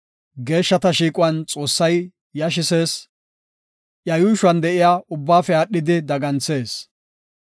Geeshshata shiiquwan Xoossay yashisees; iya yuushuwan de7iya ubbaafe aadhidi daganthees.